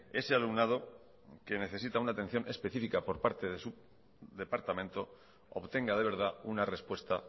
ese alumnado que necesita una atención específica por parte de su departamento obtenga de verdad una respuesta